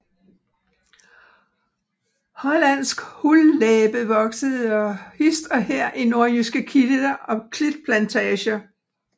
Hollandsk hullæbe vokser hist og her i nordjyske klitter og klitplantager